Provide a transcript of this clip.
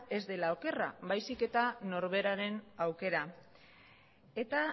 ez dela okerra baizik eta norberaren aukera eta